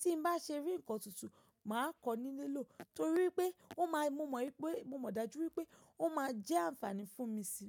Tí bá se rí ńkan tuntun, mà á kọ ní lílò torí pé ó ma mo mọ̀ pé, mo mọ̀ dájú wípé ó ma jẹ́ ànfàní fún mi sí.